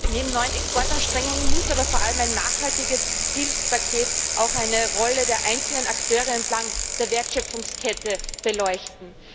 Neben neuen Exportanstrengungen muss aber vor allem ein nachhaltiges Hilfspaket auch eine Rolle der einzelnen Akteure entlang der Wertschöpfungskette beleuchten.